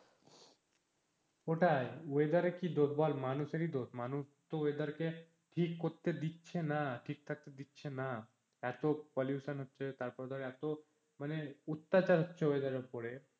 ওটাই, weather এর কি দোষ বল মানুষেরই দোষ মানুষতো weather কে ঠিক করতে দিচ্ছে না ঠিক থাকতে দিচ্ছে না, এতো pollution হচ্ছে তারপরে ধর এতো মানে অত্যাচার হচ্ছে weather এর ওপরে।